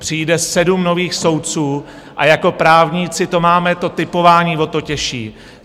Přijde sedm nových soudců, a jako právníci to máme, to tipování, o to těžší.